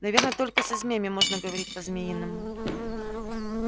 наверно только со змеями можно говорить по-змеиному